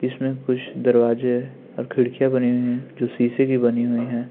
जिसमें कुछ दरवाजे हैं और खिड़कियाँ बनी हुई है जो सीशे की बनी हुई है।